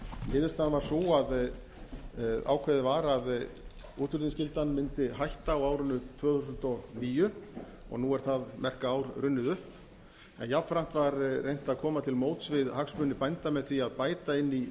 niðurstaðan varð sú að ákveðið var að útflutningsskyldan mundi hætta á árinu tvö þúsund og níu og nú er það merka ár runnið upp en jafnframt var reynt að koma til móts við hagsmuni bænda með því að bæta inn í